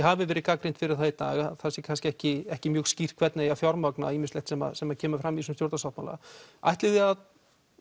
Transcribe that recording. hafið verið gagnrýnd fyrir það í dag að það sé kannski ekki ekki mjög skýrt hvernig eigi að fjármagna ýmislegt sem sem kemur fram í þessum stjórnarsáttmála ætlið þið að